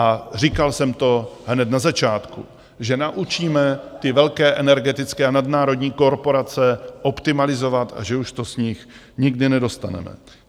A říkal jsem to hned na začátku, že naučíme ty velké energetické a nadnárodní korporace optimalizovat a že už to z nich nikdy nedostaneme.